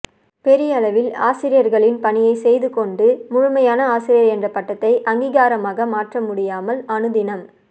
பெயரளவில் ஆசிரியர்களின் பணியைசெய்துகொண்டு முழுமையான ஆசிரியர் என்ற பட்டத்தை அங்கிகாரமாக மாற்றமுடியாமல் அணுதினம்